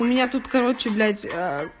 у меня тут короче блядь